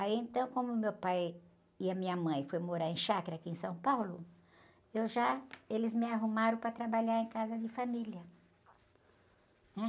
Aí, então, como meu pai e a minha mãe foram morar em chácara, aqui em São Paulo, eu já, eles me arrumaram para trabalhar em casa de família, né?